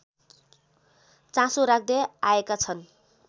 चासो राख्दै आएका छन्